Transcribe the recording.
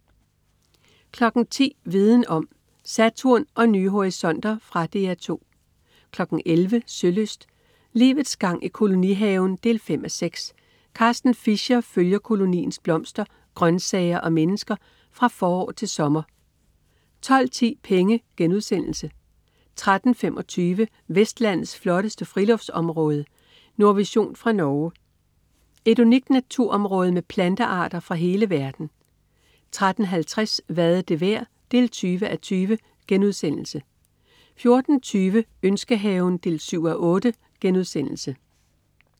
10.00 Viden om: Saturn og nye horisonter. Fra DR 2 11.00 Sølyst: Livets gang i kolonihaven 5:6. Carsten Fischer følger koloniens blomster, grøntsager og mennesker fra forår til sommer 12.10 Penge* 13.25 Vestlandets flotteste friluftsområde. Nordvision fra Norge. Et unikt naturområde med plantearter fra hele verden 13.50 Hvad er det værd? 20:20* 14.20 Ønskehaven 7:8*